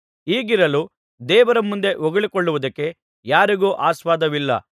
ಹೀಗಿರಲು ದೇವರ ಮುಂದೆ ಹೊಗಳಿಕೊಳ್ಳುವುದಕ್ಕೆ ಯಾರಿಗೂ ಆಸ್ಪದವಿಲ್ಲ